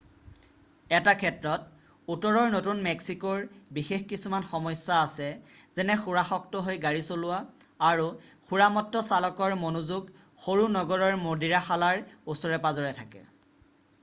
এটা ক্ষেত্ৰত উত্তৰৰ নতুন মেক্সিকোৰ বিশেষ কিছুমান সমস্যা আছে যেনে সুৰাসক্ত হৈ গাড়ী চলোৱা আৰু সুৰামত্ত চালকৰ মনোযোগ সৰু-নগৰৰ মদিৰাশালাৰ ওচৰে-পাজৰে থাকে